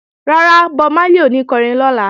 Rárá, Bob Marley ò ní kọrin lọ́la